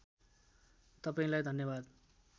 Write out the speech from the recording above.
तपाईँंलाई धन्यवाद